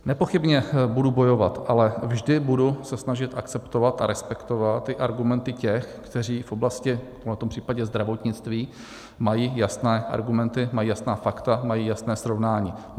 Nepochybně budu bojovat, ale vždy budu se snažit akceptovat a respektovat i argumenty těch, kteří v oblasti, v tomto případě zdravotnictví, mají jasné argumenty, mají jasná fakta, mají jasné srovnání.